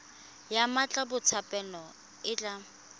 ya mmatla botshabelo e tla